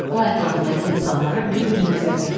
O ətrafındakı insanlara bir-bir nəzər yetirdi.